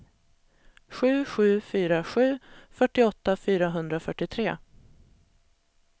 sju sju fyra sju fyrtioåtta fyrahundrafyrtiotre